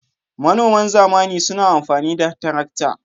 Manoman zamani suna amfani da tarakta.